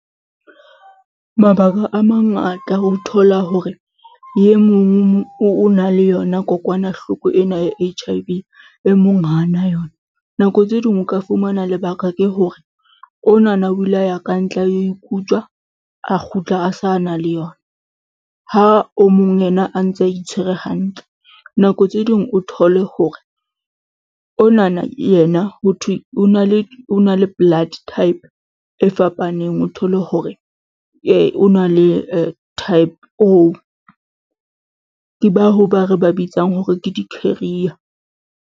Mabaka a mangata o thola hore e mong o na le yona kokwanahloko ena ya H_I_V e mong ha na yona. Nako tse ding o ka fumana lebaka ke hore onana o ile a ya ka ntle a lo ikutswa, a kgutla a sa na le yona, ha o mong yena a ntse a itshwere hantle. Nako tse ding o thole hore onana yena ho thwe o na le blood type e fapaneng, o thole hore o na le type O, ke bao re ba bitsang hore ke di-carrier.